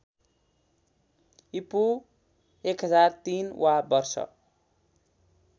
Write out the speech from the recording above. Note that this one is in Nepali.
ईपू १००३ वा वर्ष